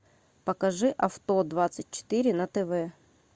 покажи авто двадцать четыре на тв